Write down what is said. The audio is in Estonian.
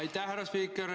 Aitäh, härra spiiker!